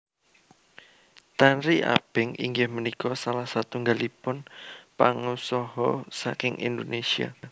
Tanri Abeng inggih punika salah satunggalipun pangusha saking Indonésia